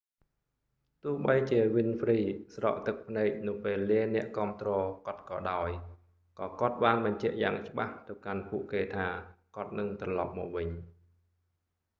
ទោះបីជាវីនហ្វ្រ៊ី winfrey ស្រក់ទឹកភ្នែកនៅពេលលាអ្នកគាំទ្រគាត់ក៏ដោយ ក៏គាត់បានបញ្ជាក់យ៉ាងច្បាស់ទៅកាន់ពួកគេថា គាត់នឹងត្រឡប់មកវិញ